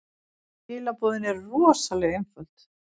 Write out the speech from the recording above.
Skilaboðin eru rosalega einföld.